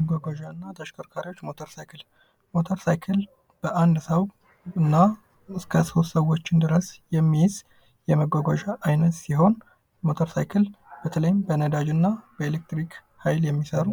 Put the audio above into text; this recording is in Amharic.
መጎጓዣ እና ተሽከርካሪዎች ሞተር ሳይክል ሞተር ሳይክል በአንድ ሰው እና እስከ ሶስት ሰዎች ድረስ የሚይዝ የመጓዝ ሲሆን ሞተር ሳይክል በተለይም በነዳጅ እና በኤሌክትሪክ ኃይል የሚሰራ